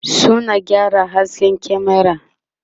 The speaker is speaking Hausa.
suna gyara hasken kyamera